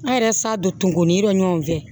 An yɛrɛ sa don ni yɔrɔ ɲɔn fɛ